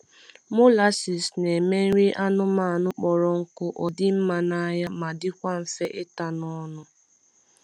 Molases na eme nri anụmanụ kpọrọ nkụ odi mma na anya ma dikwa nfe ita n’ ọnụ